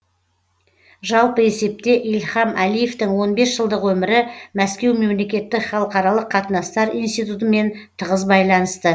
жалпы есепте ильхам әлиевтің он бес жылдық өмірі мәскеу мемлекеттік халықаралық қатынастар институтымен тығыз байланысты